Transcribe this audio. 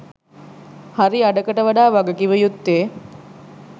හරි අඩකට වඩා වගකිවයුත්තේ